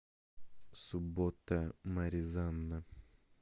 суббота маризанна